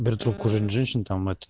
трубку женщин